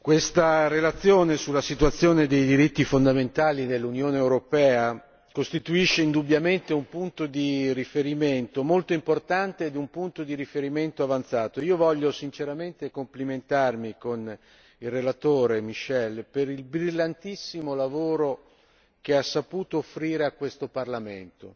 Signor Presidente, onorevoli colleghi, questa relazione sulla situazione dei diritti fondamentali nell'Unione europea costituisce indubbiamente un punto di riferimento molto importante e un punto di riferimento avanzato. Io voglio sinceramente complimentarmi con il relatore Michel per il brillantissimo lavoro che ha saputo offrire a questo Parlamento.